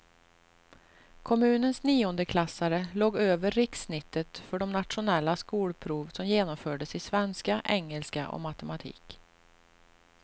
Kommunens niondeklassare låg över rikssnittet för det nationella skolprov som genomfördes i svenska, engelska och matematik.